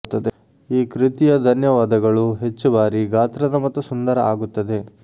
ಈ ಕೃತಿಯ ಧನ್ಯವಾದಗಳು ಹೆಚ್ಚು ಭಾರಿ ಗಾತ್ರದ ಮತ್ತು ಸುಂದರ ಆಗುತ್ತದೆ